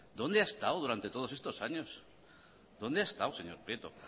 dónde ha estado durante todos estos años dónde ha estado señor prieto